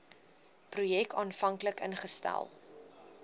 projek aanvanklik ingestel